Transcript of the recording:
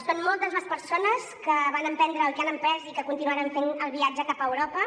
són moltes les persones que van emprendre i que han emprès i que continuaran fent el viatge cap a europa